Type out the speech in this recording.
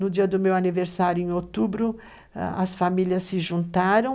No dia do meu aniversário, em outubro, as famílias se juntaram.